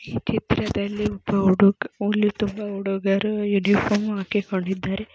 ಈ ಚಿತ್ರದಲ್ಲಿ ಒಬ್ಬ ಹುಡುಗರು ಹುಲಿ ತುಂಬಾ ಹುಡುಗರು ಉನಿಫಾರ್ಮ್ ಹಾಕಿಕೊಂಡಿದ್ದಾರೆ.